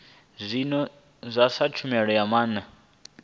zwino sa tshumelo ya maana